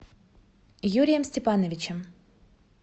юрием степановичем